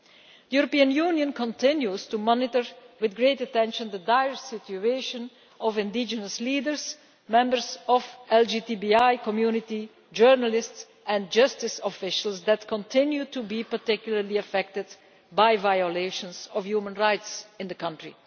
The European Union continues to monitor with great attention the dire situation of indigenous leaders, members of the LGBTI community, journalists and justice officials who continue to be particularly affected by violations of human rights in the country.